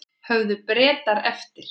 Höfðu Bretar eftir